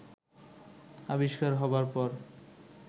আবিষ্কার হবার পর